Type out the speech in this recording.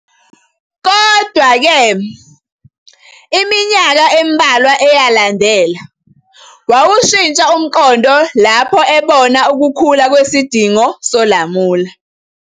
Kodwa-ke, iminyaka embalwa eyalandela, wawushintsha umqondo lapho ebona ukukhula kwesidingo solamula.